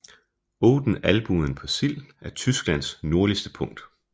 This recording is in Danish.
Odden Albuen på Sild er Tysklands nordligste punkt